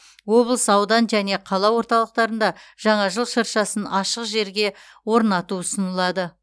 облыс аудан және қала орталықтарында жаңа жыл шыршасын ашық жерге орнату ұсынылады